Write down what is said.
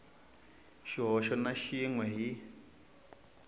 xihoxo na xin we hi